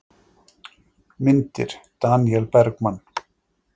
Myndir: Daníel Bergmann.